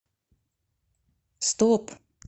стоп